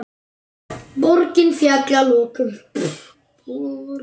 Borgin féll að lokum.